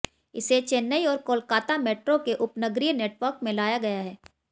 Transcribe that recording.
इसे चेन्नई और कोलकाता मेट्रो के उपनगरीय नेटवर्क में लगाया गया है